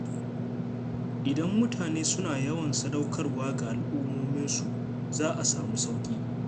Idan mutane suna yawan sadaukarwa ga al'ummominsu, za a sami sauƙi.